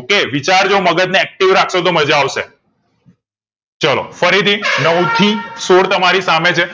okay વિચાર જો મગજ ને active રાખશો તો માજા આવશે ચલો ફરીથી નવ થી સોળ તમારી સામે છે